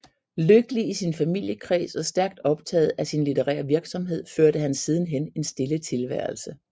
Lykkelig i sin familiekreds og stærkt optagen af sin litterære virksomhed førte han siden hen en stille tilværelse